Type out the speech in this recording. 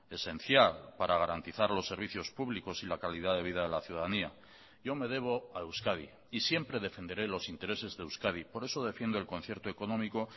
esencial para garantizar los servicios públicos y la calidad de vida de la ciudadanía yo me debo a euskadi y siempre defenderé los intereses de euskadi por eso defiendo el concierto económico